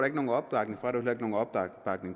ikke nogen opbakning